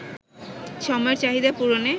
সময়ের চাহিদা পূরণে